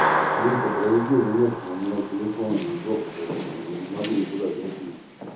рита проведи рулетку у меня телефон он в жопу короче я не могу никуда зайти